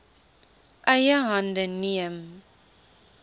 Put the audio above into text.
eie hande neem